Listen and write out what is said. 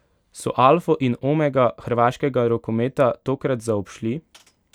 So alfo in omega hrvaškega rokometa tokrat zaobšli?